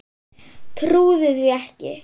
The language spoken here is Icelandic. Trúði því ekki.